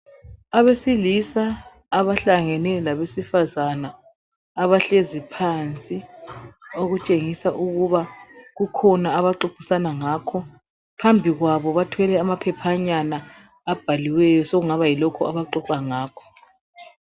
Abesilisa abahlangene labesifazana abahlezi phansi, okutshengisa ukuba kukhona abaxoxisana ngakho, phambi kwabo baphethe amaphephanyana abhaliweyo sokungaba yilokho abaxoxa ngakho.